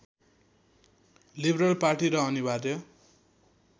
liberal party र अनिवार्य